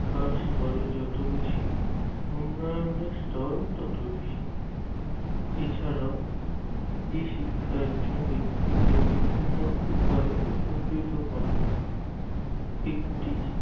শিক্ষার স্তরে যত বেশি উন্নয়ন স্তর তত বেশি এছাড়া এই শিক্ষা একজন ব্যক্তিকে বিভিন্ন উপায়ে উপকৃত করে একটি